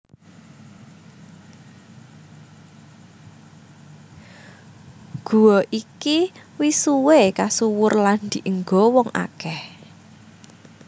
Guwa iki wis suwé kasuwur lan dienggo wong akèh